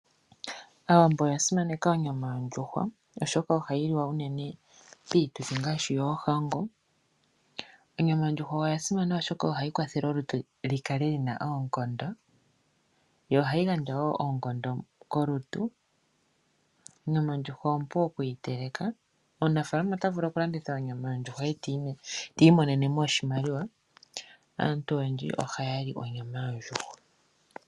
Aawambo oya simaneka onyama yondjuhwa oshoka ohayi liwa unene piituthi ngaashi yoohango. Onyama yondjuhwa oya simana oshoka ohayi kwathele olutu li kale lina oonkondo yo ohayi gandja wo oonkondo kolutu. Onyama yondjuhwa ompu okuyiteleka. Omunafaalama ota vulu okulanditha onyama yondjuhwa eti imonene mo oshimaliwa. Aantu oyendji ohaya li onyama yondjuhwa.